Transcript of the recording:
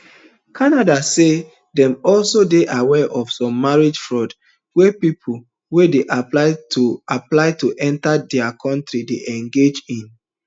canada say dem also dey aware of some marriage fraud wey pipo wey dey apply to apply to enta dia kontri dey engage in